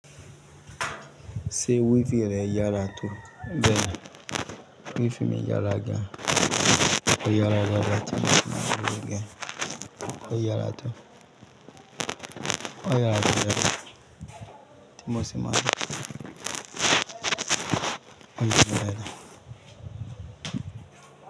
Ṣé wi-fì rẹ yára tó? Bẹ́ẹ̀ni Wi-Fi mi yára gan. Ó yára dàadàa ti mo sì máa orúkọ rẹ̀. Ó yára tó. Ó yára tó bẹ́ẹ̀ ti mo sì máa orúkọ rẹ̀.